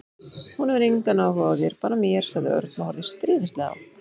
Hún hefur engan áhuga á þér, bara mér sagði Örn og horfði stríðnislega á